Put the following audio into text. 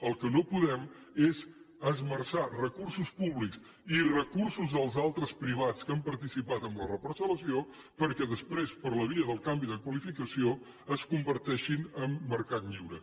el que no podem és esmerçar recursos públics i recursos dels altres privats que han participat en la reparcellació perquè després per la via de canvi de qualificació es converteixin en mercat lliure